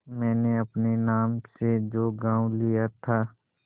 मैंने अपने नाम से जो गॉँव लिया था